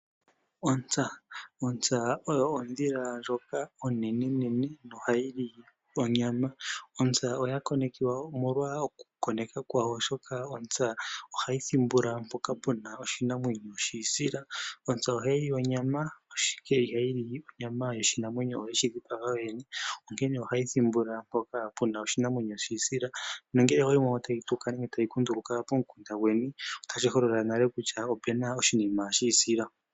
Ontsa oyo ondhila ndjoka onenene nohayi li onyama. Oya konekiwa hayi thimbula mpoka puna oshinamwenyo shiisila. Ohayi li onyama ashike ihayi li onyama yoshinamwenyo yeshi dhipaga yoyene , onkene ohayi thimbula mpoka puna oshinamwenyo shiisila nongele oweyi mono tayi tuka nenge tayi kunduluka pokunda gweni otashi holola kutya opuna oshinima shiisila.